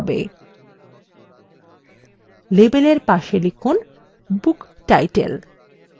label এর পাশে লিখুন book title